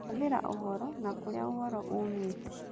Kũhũthĩra ũhoro, na kũrĩa ũhoro umĩte